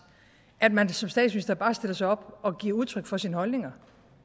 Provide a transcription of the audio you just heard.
at man som statsminister bare stiller sig op og giver udtryk for sine holdninger